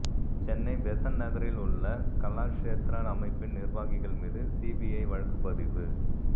Chennai Besant நகரில் உள்ள கலாஷேத்ரா அமைப்பின் நிர்வாகிகள் மீது சிபிஐ வழக்குப்பதிவு